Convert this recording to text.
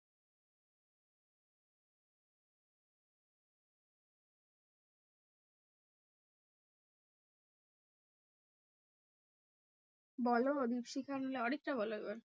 বলো দ্বীপশিখা নাহলে অরিত্রা বলো এবার।